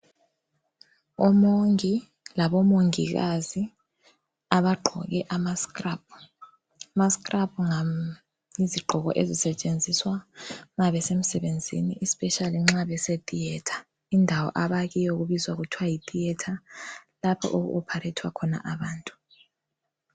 Umongi labo mongikazi abagqoke ama scrub. Ama scrub yizigqoko ezisetshenziswa mabesemsebenzini especially nxa bese theatre indawo abakiyo kubizwa kuthiwa yitheatre lapho oku operathwa khona abantu.